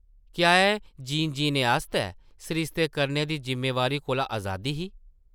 क्या एह् जीन जीने आस्तै सरिस्ते करने दी जिम्मेवारी कोला अजादी ही ?